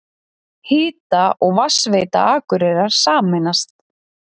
Hita- og vatnsveita Akureyrar sameinast